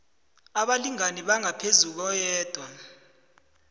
abalingani abangaphezu koyedwa